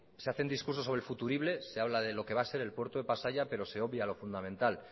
se hacen discursos sobre futuribles se habla de lo que va a ser el puerto de pasaia pero se obvia lo fundamental